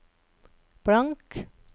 blank